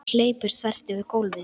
Hún hleypur þvert yfir gólfið.